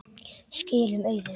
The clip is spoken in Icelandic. Skilum auðu.